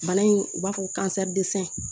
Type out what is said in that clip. Bana in u b'a fɔ ko